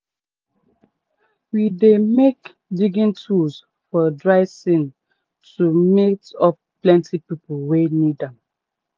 we dey make digging tools for dry sean to meet up plenty people wey need am.